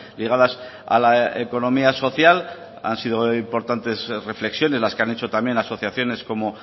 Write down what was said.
ligadas a la economía social han sido importantes reflexiones las que han hecho también asociaciones como